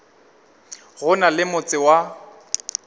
go na le motse wa